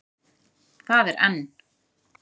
Það er enn.